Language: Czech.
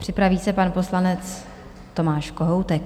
Připraví se pan poslanec Tomáš Kohoutek.